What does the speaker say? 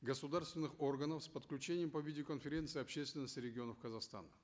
государственных органов с подключением по видеоконференции общественности регионов казахстана